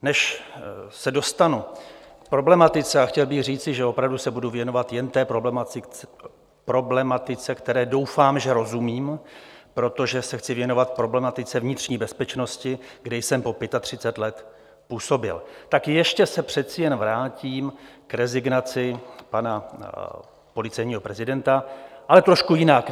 Než se dostanu k problematice - a chtěl bych říci, že opravdu se budu věnovat jen té problematice, které doufám, že rozumím, protože se chci věnovat problematice vnitřní bezpečnosti, kde jsem po 35 let působil - tak ještě se přece jen vrátím k rezignaci pana policejního prezidenta, ale trošku jinak.